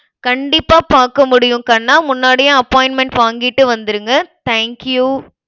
கண்டிப்பா பாக்க முடியும் கண்ணா முன்னாடியே appointment வாங்கிட்டு வந்துருங்க thank you